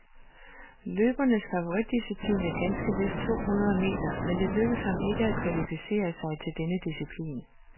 Løberens favoritdisciplin er ganske vist to hundrede meter, men det lykkedes ham ikke at kvalificere sig til denne disciplin.